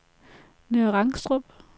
Nørre Rangstrup